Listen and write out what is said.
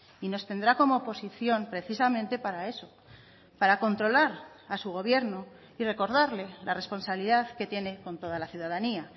y nos tendrá como oposición precisamente para eso para controlar a su gobierno y recordarle la responsabilidad que tiene con toda la ciudadanía